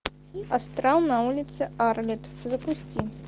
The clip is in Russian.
астрал на улице арлетт запусти